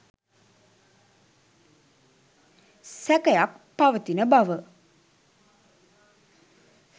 සැකයක්‌ පවතින බව